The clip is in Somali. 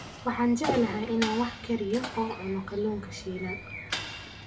Waxaan jeclahay inaan wax kariyo oo cuno kalluunka shiilan.